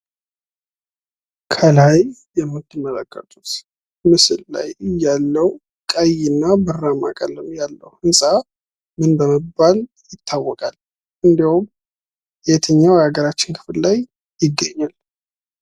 ከላይ የምትመለከቱት ምስል ላይ ያለው ቀይ እና ብራማ ቀለም ያለው ህንፃ ምን በመባል ይታወቃል? እንዲሁም የትኛው የሃገራችን ክፍል ላይ ይገኛል?